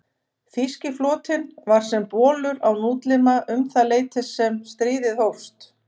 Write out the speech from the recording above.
Þýski flotinn var sem bolur án útlima um það leyti sem stríðið hófst.